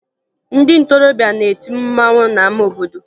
Ndị ntorobịa na-eti mmanwụ n'ama obodo